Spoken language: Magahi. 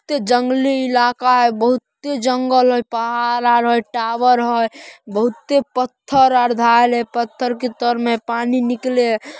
ते जंगली इलाका है बहुते जंगल हई पहाड़-उहाड़ हई और टॉवर हई बहुत पत्थर और डाल हई पत्थर के तर में पानी निकले --